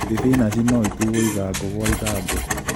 Thibinachi no ĩtuo ithangũ gwa ithangũ